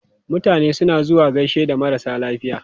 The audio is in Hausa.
Mutane suna zuwa gaishe da marasa lafiya.